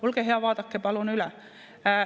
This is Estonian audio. Olge hea, vaadake palun üle.